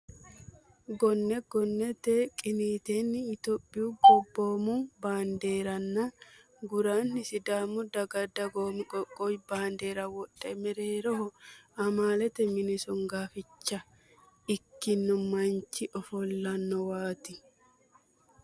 Gonne gonnete qiniiteenni itiyophiyu gobboomu baandeeranna guraanni sidaamu daga dagoomu qoqqowi bandeera wodhe mereeho amaalete mini songoaficha ikkino manchi ofollinowaati.